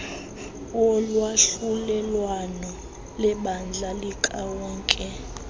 wolwahlulelwano lebandla likawonke